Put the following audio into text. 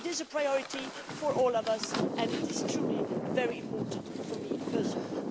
It is a priority for all of us, and it is very important for me personally.